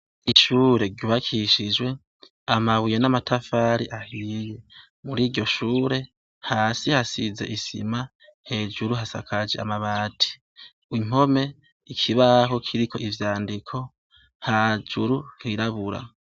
Ishure ryubakishijwe amabuye n’amatafari ahiye muri iryo shure hasi hasize isima hejuru hasakaje amabati impome ikibaho kiriko ivyandiko hejuru hirabura.